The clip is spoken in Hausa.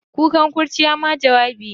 Kukan kurciya ma jawabi ne.